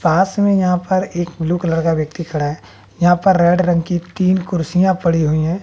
पास में यहां पर एक ब्लू कलर का व्यक्ति खड़ा है यहां पर रेड रंग की तीन कुर्सियां पड़ी हुई है।